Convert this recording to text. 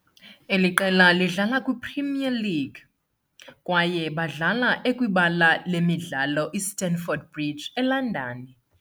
eli qela lidlala kwiPremier League, kwaye badlala ekwibala lemidlalo iStamford Bridge eLondon.